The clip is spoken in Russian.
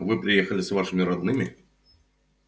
вы приехали с вашими родными